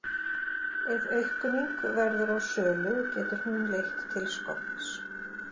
Ef aukning verður á sölu getur hún leitt til skorts.